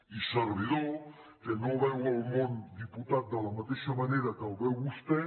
i servidor que no veu el món diputat de la mateixa manera que el veu vostè